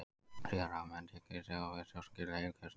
Síðar hafa menn líka tekist á við stjórnkerfi heilkjörnunga.